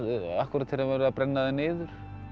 akkúrat þegar var verið að brenna þær niður